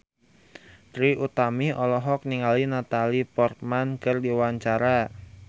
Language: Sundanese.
Trie Utami olohok ningali Natalie Portman keur diwawancara